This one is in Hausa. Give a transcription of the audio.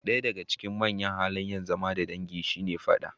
Ɗaya daga cikin manyan halayen zama da dangi shine fada.